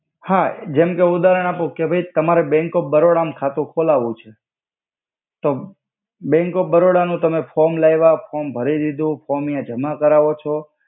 હા જેમ કે ઉદાહરણ આપો કે ભઇ તમારે બેંક ઓફ બરોડા મ ખાતુ ખોલાવુ છે તો બેંક ઓફ બરોડા નુ તમે ફોમ લઇવા ફોમ ભરી દીધુ ફોમ યા જમા કરાવો છો.